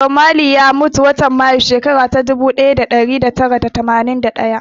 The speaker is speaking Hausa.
Bob Marley ya mutu a watan Mayu, shekara ta ɗubu ɗaya da ɗari tara da tamanin da ɗaya.